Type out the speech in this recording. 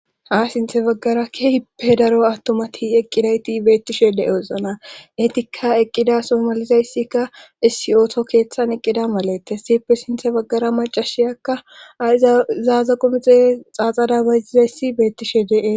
ha sinthe baggara ke hipe daro attomati eqqidayti beettishe de7eosona etikka eqqida somalizayssikka issi ooto keeththan eqqida malettes sipe sinthe baggara macashiyakka a izaaza qomexe xaaxada bazizayssi beettishe de7e